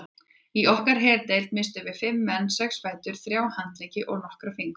Í okkar herdeild misstum við fimm menn, sex fætur, þrjá handleggi og nokkra fingur.